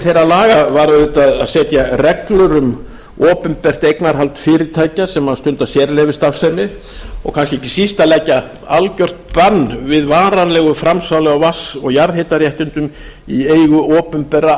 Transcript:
þeirra laga var auðvitað að setja reglur um opinbert eignarhald fyrirtækja sem stunda sérleyfisstarfsemi og kannski ekki síst að leggja algjört bann við varanlegu framsali á vatns og jarðhitaréttindum í eigu opinberra